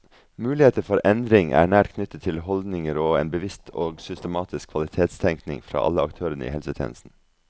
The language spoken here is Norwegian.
Muligheter for endring er nært knyttet til holdninger og en bevisst og systematisk kvalitetstenkning fra alle aktørene i helsetjenesten.